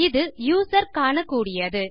இது யூசர் காணக்கூடியது